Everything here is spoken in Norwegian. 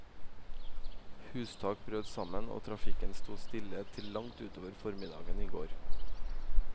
Hustak brøt sammen, og trafikken sto stille til langt utover formiddagen i går.